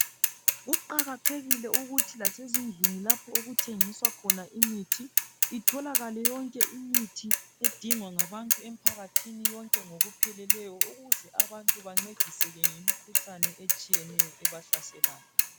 Kuqakathekile ukuthi lasezindlini lapha okuthengiswa khona imithi itholakale imithi edingwa ngabantu yonke ngokupheleleyo ukuze abantu bangcediseke ngemikhuhlane etshiyeneyo ebahlaselayo